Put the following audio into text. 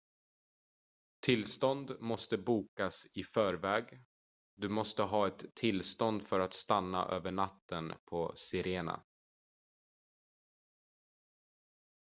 tillstånd måste bokas i förväg du måste ha ett tillstånd för att stanna över natten på sirena